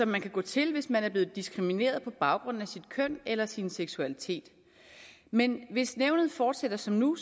man kan gå til hvis man er blevet diskrimineret på baggrund af sit køn eller sin seksualitet men hvis nævnet fortsætter som nu